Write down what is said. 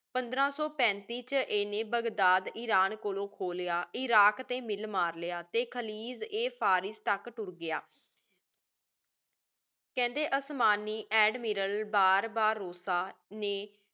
ਪੰਦ੍ਰ ਸੋ ਪੇੰਤਿਸ ਵਿਚ ਏਨੇ ਬਗਦਾਦ, ਇਰਾਨ ਕੋਲੋ ਖੋ ਲਾਯਾ ਇਰਾਕ਼ ਤੇ ਮਿਲ ਮਾਰ ਲਿਆ ਤੇ ਖਲੀਜ ਏ ਫ਼ਾਰਿਸ ਤਕ ਤੁਰ ਗਯਾ ਕੇਹੰਡੀ ਓਸ੍ਮਾਨੀ ਏਡਮਿਰਲ ਬਰ੍ਬਾਰੋਸਾ ਨੇ